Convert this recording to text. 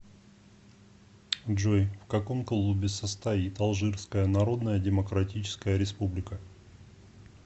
джой в каком клубе состоит алжирская народная демократическая республика